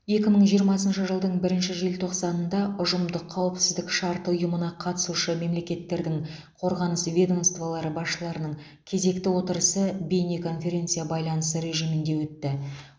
екі мың жиырмасыншы жылдың бірінші желтоқсанында ұжымдық қауіпсіздік шарты ұйымына қатысушы мемлекеттердің қорғаныс ведомствалары басшыларының кезекті отырысы бейне конференция байланысы режимінде өтті